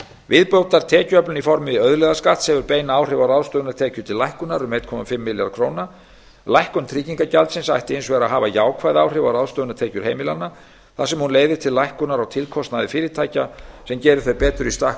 viðbótartekjuöflun í formi auðlegðarskatts hefur bein áhrif á ráðstöfunartekjur til lækkunar um einn komma fimm milljarða króna lækkun tryggingagjaldsins ætti hins vegar að hafa jákvæð áhrif á ráðstöfunartekjur heimilanna þar sem hún leiðir til lækkunar á tilkostnaði fyrirtækja sem gerir þau betur í stakk